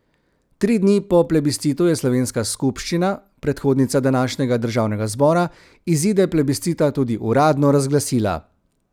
Tri dni po plebiscitu je slovenska skupščina, predhodnica današnjega državnega zbora, izide plebiscita tudi uradno razglasila.